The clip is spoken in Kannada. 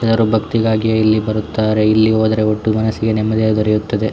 ಜನರು ಭಕ್ತಿಗಾಗಿ ಇಲ್ಲಿ ಬರುತ್ತಾರೆ ಇಲ್ಲಿ ಹೋದರೆ ಒಟ್ಟು ಮನಸಿಗೆ ನೆಮ್ಮದಿ ದೊರೆಯುತ್ತದೆ.